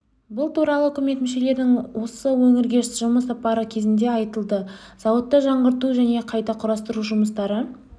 бұл туралы үкімет мүшелерінің осы өңірге жұмыс сапары кезінде айтылды зауытта жаңғырту және қайта құрастыру жұмыстары